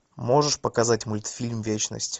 можешь показать мультфильм вечность